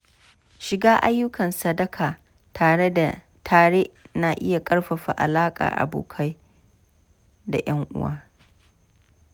Shiga ayyukan sadaka tare na iya ƙarfafa alakar abokai da ƴan uwa.